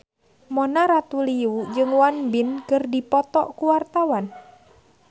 Mona Ratuliu jeung Won Bin keur dipoto ku wartawan